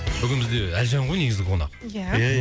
бүгін бізде әлжан ғой негізі қонақ ия ия